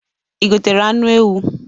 I gotere anụ ewu?